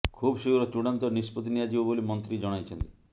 ଖୁବ୍ ଶୀଘ୍ର ଚୂଡ଼ାନ୍ତ ନିଷ୍ପତ୍ତି ନିଆଯିବ ବୋଲି ମନ୍ତ୍ରୀ ଜଣାଇଛନ୍ତି